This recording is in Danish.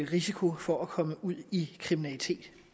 risiko for at komme ud i kriminalitet